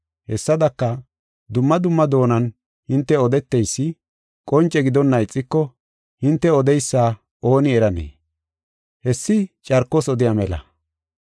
Hessadaka, dumma dumma doonan hinte odeteysi qonce gidonna ixiko hinte odeysa ooni eranee? Hessi carkos odiya mela.